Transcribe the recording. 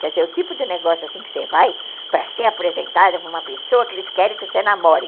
Quer dizer, o tipo de negócio assim que você vai para ser apresentada para uma pessoa que eles querem que você namore.